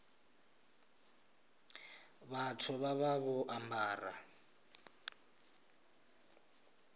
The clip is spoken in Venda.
vhathu vha vha vho ambara